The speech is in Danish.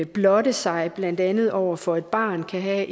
blotte sig blandt andet over for et barn kan have